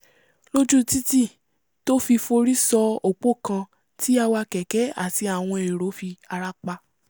lójú títì tó fi forí sọ òpó kan tí awakẹ̀kẹ́ àti àwọn èrò fi ara pa